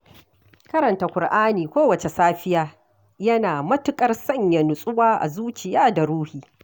Karanta Ƙur'ani kowacce safiya, yana matuƙar sanya nutsuwa a zuciya da ruhi